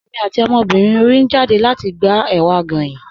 Ẹ̀mi àti ọmọbírín orí n jádẹ̀ lati gbà èwà goyín.